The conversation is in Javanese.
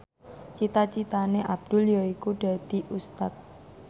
cita citane Abdul yaiku dadi Ustad